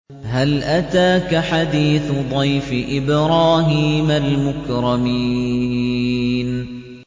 هَلْ أَتَاكَ حَدِيثُ ضَيْفِ إِبْرَاهِيمَ الْمُكْرَمِينَ